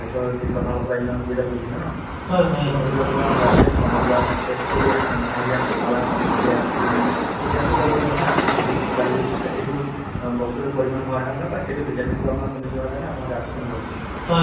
যিহেতু one zero eight হৈয় মানুহৰ দুখীয়াসকলৰ যিটো আ গাড়ীৰ ভাৰা দিব নোৱাৰা বহু বহু মানুহ নায ~ নোযোৱাকে থাকি যায় নহয় জানো ঘৰতে delivery হৈ যায় বা ঘৰতে মা ~ মানুহ থাকে বেমাৰ যিমান ডাঙৰ বেমাৰ হ'লেও ঘৰত থাকি যায় চিন্তা কৰিবলগীয়া হৈ যায়